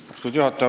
Austatud juhataja!